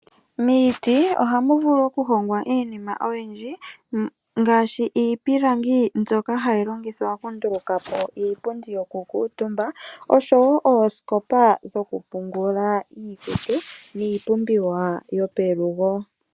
Miiti ohamu vulu okuhongwa iinima oyindji ngaashi iipilangi mbyoka hayi longithwa okundulukapo iipundi yokukuutumba osho woo oosikopa dhoku pungula iikutu niipumbiwa yopelugo.